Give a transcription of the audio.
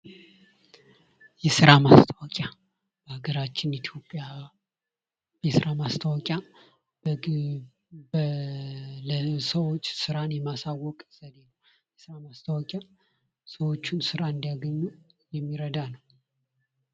የስራ ማስታወቂያ በአገራችን ኢትዮጵያ የስራ ማስታወቂያ ሰዎች ስራን የማስታወቅ ሰዎች ስራ እንዲያገኙ የሚረዳ ነው።